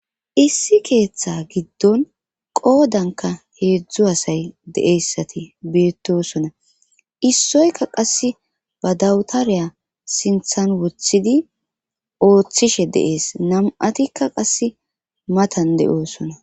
issi keeththe giddon qoodanka heedzdzu asay de7eyssati beettosona issoyka qass ba dawtareya sinthan wothidi ooththishe deees nam7atikka qasse matan de7oosona